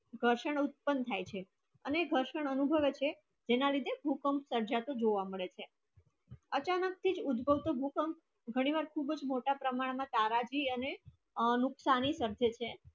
ગ્રશન ઉત્પન્ન થાય છે અને ગ્રશન અનુભવાય છે ત્યાં રીતે ભૂકંપ સર્જ તે જોવા મળે છે અચાનક થી ઉભોવતો ભૂકંપ ઘણી વસ્તી ચ મોટા પ્રમાના તારા જી અને અનુસાઇક વર્જિત છે